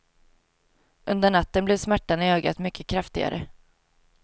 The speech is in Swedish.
Under natten blev smärtan i ögat mycket kraftigare.